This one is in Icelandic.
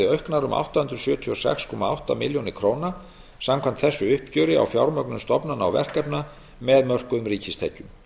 auknar um átta hundruð sjötíu og sex komma átta milljónir króna samkvæmt þessu uppgjöri á fjármögnun stofnana og verkefna með mörkuðum ríkistekjum